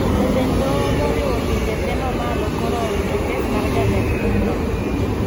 Jatend doho moriwo pinje tee mamalo koro owito kes mar jatend piny no